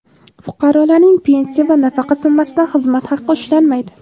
fuqarolarning pensiya va nafaqa summasidan xizmat haqi ushlanmaydi.